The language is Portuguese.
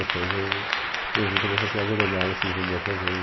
Depois eu, eu vi como essa cidade é legal, assim, vindo outras vezes.